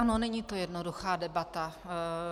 Ano, není to jednoduchá debata.